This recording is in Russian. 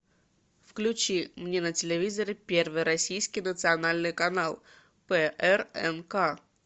включи мне на телевизоре первый российский национальный канал прнк